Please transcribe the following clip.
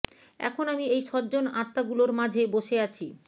এখন আমি এই সজ্জন আত্মাগুলোর মাঝে বসে আছি